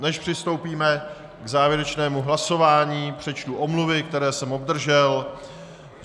Než přistoupíme k závěrečnému hlasování, přečtu omluvy, které jsem obdržel.